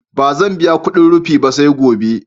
Ba zan biya kudin rufi ba, sai gobe